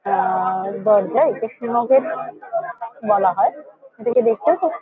আ আ দরজা একে সীমও গেট বলা হয়। এটাকে দেখতে ও খুব --